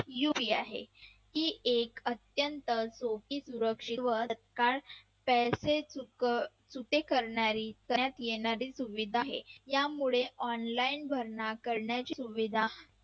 UPI आहे ती अत्यंत सोपी सुरक्षित व पैसे सुके करणारी करण्यात येणारे सुविधा आहे त्यामुळे online भरणा करण्याची सुविधा